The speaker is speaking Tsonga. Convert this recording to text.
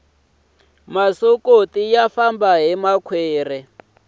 masokoti ya famba hi makhwiri